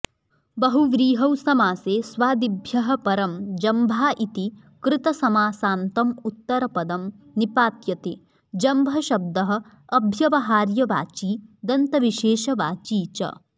बहुव्रीहौ समासे स्वादिभ्यः परं जम्भा इति कृतसमासान्तम् उत्तरपदं निपात्यते जम्भशब्दः अभ्यवहार्यवची दन्तविशेषवाची च